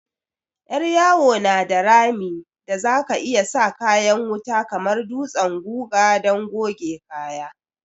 Yar yawo na da rami da za ka iyi sa kayan wuta kamar dutsen guga don goge kaya.